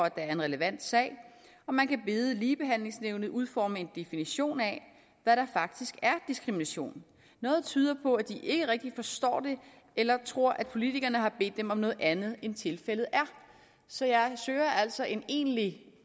at der er en relevant sag og man kan bede ligebehandlingsnævnet udforme en definition af hvad der faktisk er diskrimination noget tyder på at de ikke rigtig forstår det eller tror at politikerne har bedt dem om noget andet end tilfældet er så jeg søger altså en egentlig